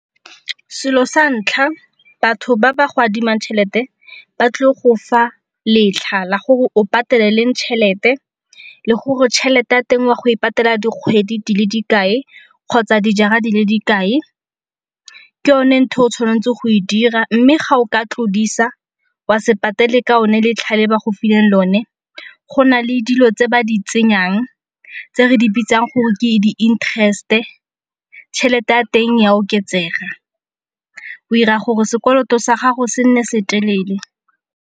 Selo sa ntlha batho ba ba go adimang tšhelete ba tlile go fa letlha la gore o patele leng tšhelete, le gore tšhelete ya teng wa go e patela dikgwedi di le dikae kgotsa dijara di le dikae. Ke yone ntho e o tshwanetseng go e dira mme ga o ka tlodisa wa se patele ka o ne letlha le ba go fileng lone go na le dilo tse ba di tsenyang, tse re di bitsang gore ke di-interest-e. Tšhelete ya teng ya oketsega, o ira gore sekoloto sa gago se nne se telele.